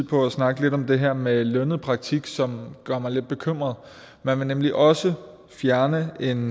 på at snakke lidt om det her med lønnet praktik som gør mig lidt bekymret man vil nemlig også fjerne en